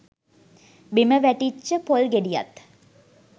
බිම වැටිච්ච පොල් ගෙඩියත්